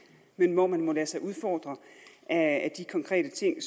men hvor man må lade sig udfordre af de konkrete ting